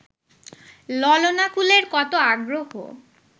ললনাকুলের কত আগ্রহ